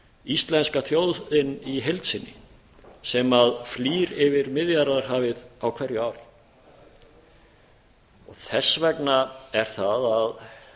íslenska þjóðin í heild sinni sem flýr yfir miðjarðarhafið á hverju ári þess vegna er það að